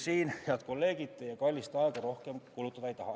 Siin, head kolleegid, ma teie kallist aega rohkem kulutada ei taha.